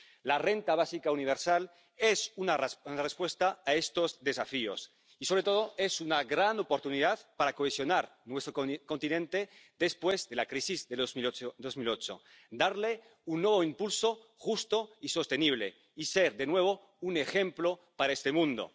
La renta básica universal es una respuesta a estos desafíos y, sobre todo, es una gran oportunidad para cohesionar nuestro continente después de la crisis de 2008, darle un nuevo impulso justo y sostenible y ser, de nuevo, un ejemplo para este mundo.